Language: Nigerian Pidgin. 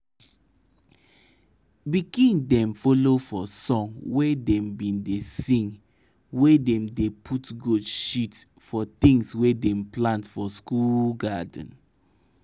anytime i dey scatter my kitchen bowla for my garden i dey sing for my mind make my crop grow well